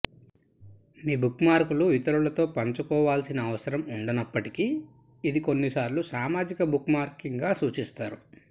మీ బుక్మార్క్లు ఇతరులతో పంచుకోవాల్సిన అవసరం ఉండనప్పటికీ ఇది కొన్నిసార్లు సామాజిక బుక్మార్కింగ్గా సూచిస్తారు